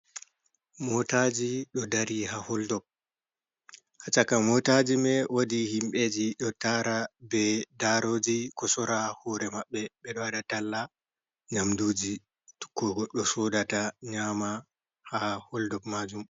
Motaji ɗo dari haa holdob, haa shaka motaji mai woodii himbeji, ɗo taara be daroji ko sora, hore maɓɓe ɓeɗo waɗa talla nyamduji, ko goɗɗo sodata nyama, haa holdob maajum.